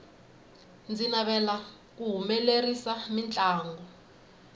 ndzi navera ku humelerisa mintlangu